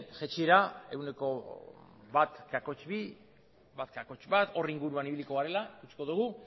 jaitsiera ehuneko bat koma bi bat koma bat hor inguruan ibiliko garela ikusiko dugu